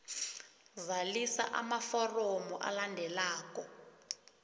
zalisa amaforomo alandelako